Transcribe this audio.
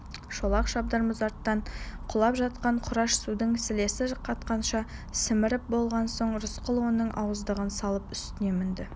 шолақ шабдар мұзарттан құлап жатқан құрыш судан сілесі қатқанша сіміріп болған соң рысқұл оның ауыздығын салып үстіне мінді